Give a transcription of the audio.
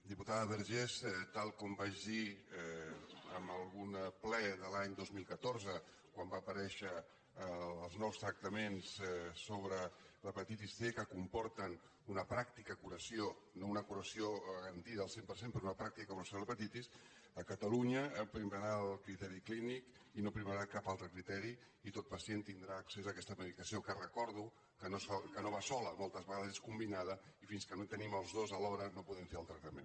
diputada vergés tal com vaig dir en algun ple de l’any dos mil catorze quan van aparèixer els nous tractaments sobre l’hepatitis c que comporten una pràctica curació no una curació garantida al cent per cent però una pràctica curació de l’hepatitis a ca·talunya primarà el criteri clínic i no primarà cap altre criteri i tot pacient tindrà accés a aquesta medicació que recordo que no va sola moltes vegades és combi·nada i fins que no tenim els dos alhora no podem fer el tractament